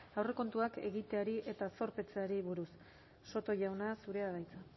aurrekontuak egiteari eta zorpetzeari buruz soto jauna zurea da hitza